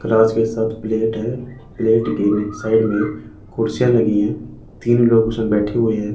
Cross के सब plate हैं प्लेट के साइड में कुर्सियां लगी हैं तीन लोगों के उसमें बैठे हुएं हैं।